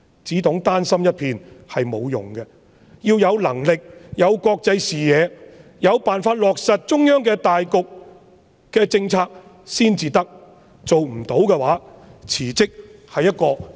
只懂丹心一片是沒有用的，要有能力和國際視野，有辦法落實中央對大局的政策才可，如果做不到，辭職是有榮譽地退下。